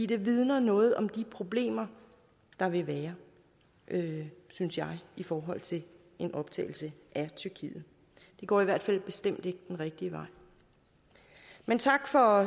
det vidner noget om de problemer der vil være synes jeg i forhold til en optagelse af tyrkiet det går i hvert fald bestemt ikke den rigtige vej men tak for